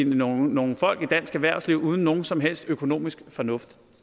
nogle nogle folk i dansk erhvervsliv uden nogen som helst økonomisk fornuft